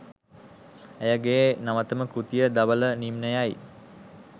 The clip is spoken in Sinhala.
ඇය ගේ නවතම කෘතිය "ධවල නිම්නය" යි.